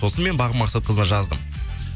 сосын мен бағым мақсатқызына жаздым